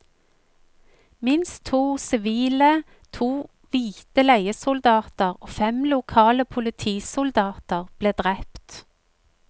Minst to sivile, to hvite leiesoldater og fem lokale politisoldater ble drept.